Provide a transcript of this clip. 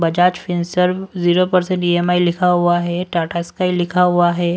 Bajaj Finserv zero percent लिखा हुआ हैं टाटा स्काइ लिखा हुआ हैं।